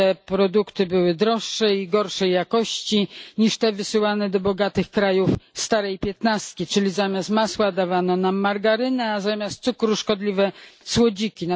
Te produkty były droższe i gorszej jakości niż te wysyłane do bogatych krajów starej piętnastki, czyli zamiast masła dawano nam margarynę, a zamiast cukru szkodliwe słodziki.